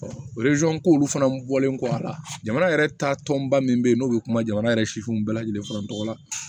ko olu fana bɔlen kɔ a la jamana yɛrɛ taa tɔnba min bɛ ye n'o bɛ kuma jamana yɛrɛ sifinw bɛɛ lajɛlen fana tɔgɔ la